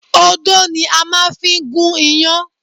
Odó ni a máa fi ń gún iyán